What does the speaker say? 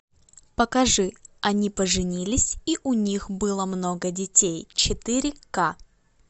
покажи они поженились и у них было много детей четыре к